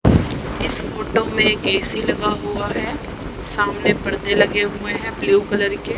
इस फोटो में एक ए_सी लगा हुआ है। सामने पडदे लगे हुए हैं ब्लू कलर के।